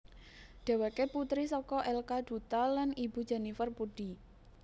Dheweké putri saka L K Dutta lan ibu Jennifer Puddi